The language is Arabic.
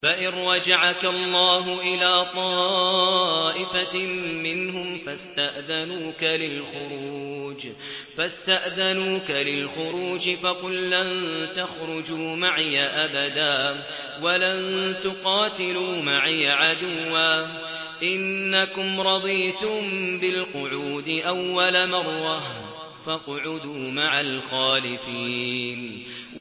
فَإِن رَّجَعَكَ اللَّهُ إِلَىٰ طَائِفَةٍ مِّنْهُمْ فَاسْتَأْذَنُوكَ لِلْخُرُوجِ فَقُل لَّن تَخْرُجُوا مَعِيَ أَبَدًا وَلَن تُقَاتِلُوا مَعِيَ عَدُوًّا ۖ إِنَّكُمْ رَضِيتُم بِالْقُعُودِ أَوَّلَ مَرَّةٍ فَاقْعُدُوا مَعَ الْخَالِفِينَ